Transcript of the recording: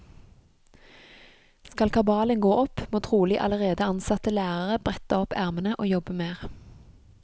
Skal kabalen gå opp, må trolig allerede ansatte lærere brette opp ermene og jobbe mer.